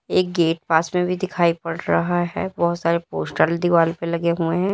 एक गेट पास में भी दिखाई पड़ रहा है बहोत सारे पोस्टर दीवाल पे लगे हुए हैं।